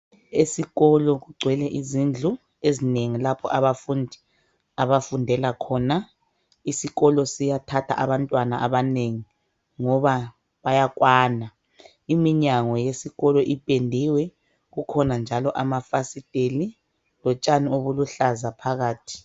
Esikolo kugcwele izindlu ezinengi lapho abafundi abafundela khona. Isikolo siyathatha abantwana abanengi ngoba bayakwana. Iminyango yesikolo ipendiwe. Kukhona njalo amafasiteli, lotshani obuluhlaza phakathi.